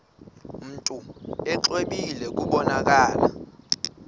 mntu exwebile kubonakala